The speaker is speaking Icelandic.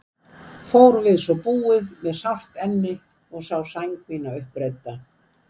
Fór ég við svo búið með sárt enni og sá mína sæng uppreidda.